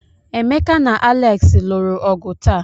Emeka na Alex lụrụ ọgụ taa.